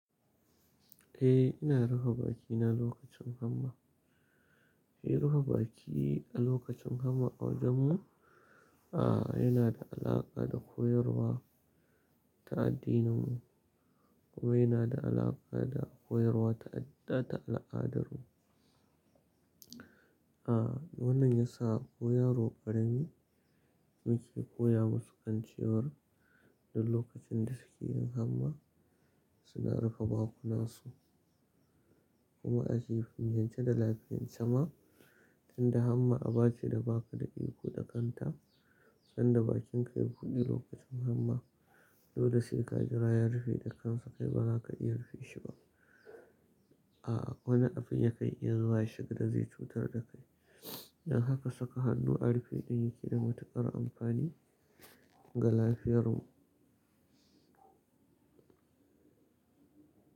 Eh ina rufe bakina lokacin hamma. Eh rufe baki a lokacin hamma a wajenmu, yana da alaƙa da koyarwa ta addininmu, kuma yana da alaƙa da koyarwa ta al'adarmu. A wannan ya sa ko yaro ƙarami muke koya musu kan ciwar duk lokacin da suke yin hamma suna rufe bakunan su. Kuma ake filyance da lafiyar sama tunda hamma a bace da ba ka da iko da kanta, sanda bakinka ya buɗe lokacin hamma, dole sai ka jira ya rufe da kansa kai ba ka iya rufe shi ba. A wani abin ya kai iya zuwa shi ga da zai cutar da kai. Don haka saka hannu a rufe ɗin ke da matuƙar amfani ga lafiyarmu.